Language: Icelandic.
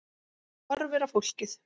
Horfir á fólkið.